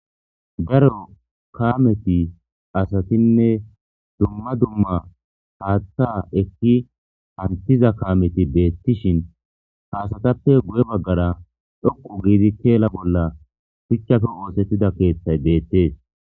daro kaameti asatinne dumma dumma haaththa ekki hantiza kaameti beettishin haasatappe guye baggara dhokqu giidi keela bolla shuchchafe oosettida keeththay deettees